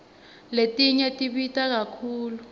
letinye tibita kakhulu